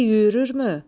İti yüyürürmü?